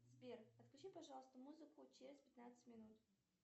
сбер отключи пожалуйста музыку через пятнадцать минут